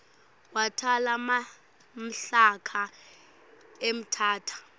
watala mhlaka emthatha